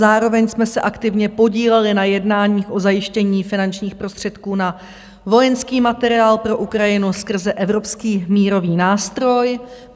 Zároveň jsme se aktivně podíleli na jednáních o zajištění finančních prostředků na vojenský materiál pro Ukrajinu skrze Evropský mírový nástroj.